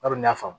Bari n'a faamu